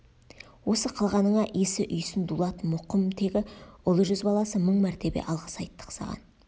осы қылғаныңа исі үйсін дулат мұқым тегі ұлы жүз баласы мың мәртебе алғыс айттық саған